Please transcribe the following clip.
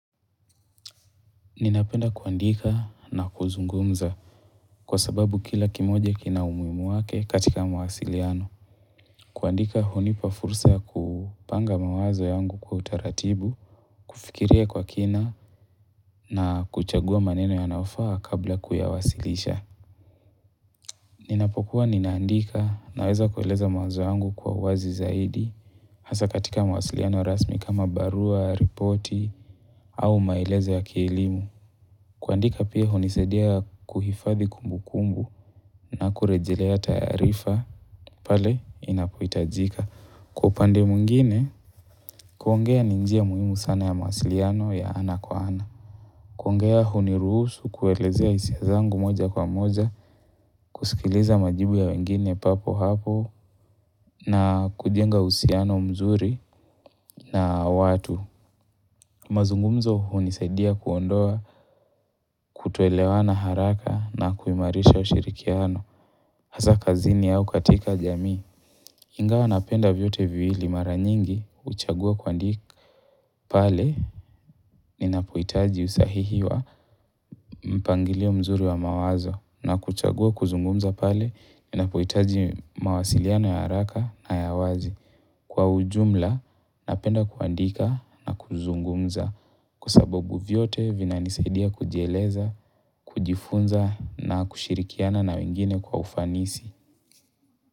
Ninapenda kuandika na kuzungumza kwa sababu kila kimoja kina umuhimu wake katika mawasiliano. Kuandika hunipa fursa ya kupanga mawazo yangu kwa utaratibu, kufikiria kwa kina na kuchagua maneno yanayofaa kabla kuyawasilisha. Ninapokuwa ninaandika naweza kueleza mawazo yangu kwa uwazi zaidi, hasa katika mawasiliano rasmi kama barua, ripoti, au maelezo ya kielimu. Kuandika pia hunisadia kuhifadhi kumbu kumbu na kurejelea taarifa pale linapohitajika. Kwa upande mwingine, kuongea ni njia muhimu sana ya mawasiliano ya ana kwa ana. Kuongea huniruhsu kuelezea hisia zangu moja kwa moja, kusikiliza majibu ya wengine papo hapo na kujenga uhusiano mzuri na watu. Mazungumzo hunisadia kuondoa kutoelewana haraka na kuhimarisha ushirikiano. Hasa kazini au katika jamii. Ingawa napenda vyote viwili mara nyingi huchagua kuandika pale ninapohitaji usahihi wa mpangilio mzuri wa mawazo na kuchagua kuzungumza pale ninapohitaji mawasiliano ya haraka na ya wazi. Kwa ujumla, napenda kuandika na kuzungumza kwa sababu vyote vinanisaidia kujieleza, kujifunza na kushirikiana na wengine kwa ufanisi.